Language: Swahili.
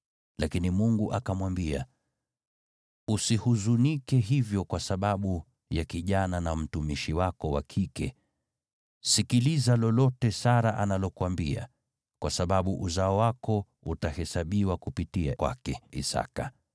Lakini Mungu akamwambia, “Usihuzunike hivyo kwa sababu ya kijana na mtumishi wako wa kike. Sikiliza lolote Sara analokuambia, kwa sababu uzao wako utahesabiwa kupitia kwake Isaki.